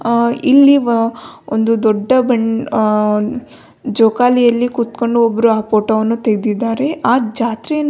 ಆ ಇಲ್ಲಿ ವ ಒಂದು ದೊಡ್ಡ ಬಂ ಆ ಜೋಕಾಲಿಯಲ್ಲಿ ಕೂತುಕೊಂಡು ಒಬ್ಬರು ಆ ಫೋಟೋ ವನ್ನು ತೆಗೆದಿದ್ದಾರೆ ಆ ಜಾತ್ರೆ--